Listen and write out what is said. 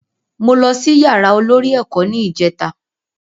Mo lọ sí yàrá olórí ẹ̀kọ́ ní ìjèta